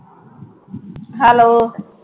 Hello